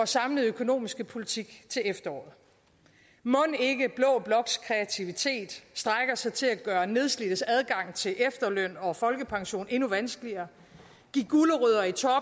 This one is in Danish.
samlede økonomiske politik til efteråret mon ikke blå bloks kreativitet strækker sig til at gøre nedslidtes adgang til efterløn og folkepension endnu vanskeligere